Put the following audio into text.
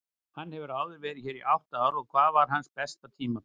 Hann hefur verið hér í átta ár og hvað var hans besta tímabil?